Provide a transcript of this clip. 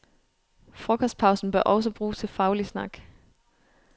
Frokostpausen bør også bruges til faglig snak.